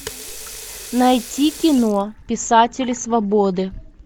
найти кино писатели свободы